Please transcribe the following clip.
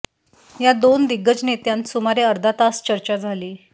या दोन दिग्गज नेत्यांत सुमारे अर्धा तास चर्चा झाली